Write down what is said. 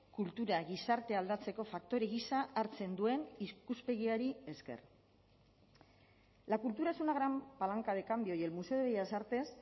kultura gizartea aldatzeko faktore gisa hartzen duen ikuspegiari esker la cultura es una gran palanca de cambio y el museo de bellas artes